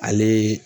Ale